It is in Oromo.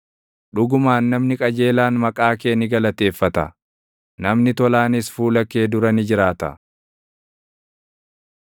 Dhugumaan namni qajeelaan maqaa kee ni galateeffata; namni tolaanis fuula kee dura ni jiraata.